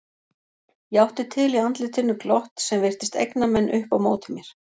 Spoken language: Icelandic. Ég átti til í andlitinu glott sem virtist egna menn upp á móti mér.